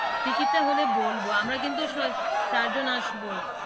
Ticket টা হলে বলবো আমরা কিন্তু চারজন আসব।